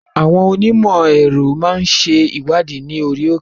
Àwọn Onímò èrò máa ń ṣe ìwádìí ní orí òkè.